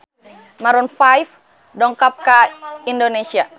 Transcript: Maroon 5 dongkap ka Indonesia